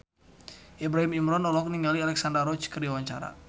Ibrahim Imran olohok ningali Alexandra Roach keur diwawancara